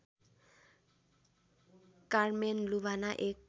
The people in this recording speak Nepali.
कारमेन लुभाना एक